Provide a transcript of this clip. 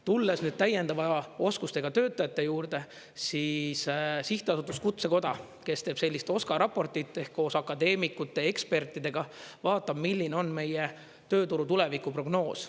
Tulles nüüd täiendava oskustega töötajate juurde, siis Sihtasutus Kutsekoda, kes teeb sellist OSKA raportit, ehk, koos akadeemikute, ekspertidega vaatab, milline on meie tööturu tulevikuprognoos.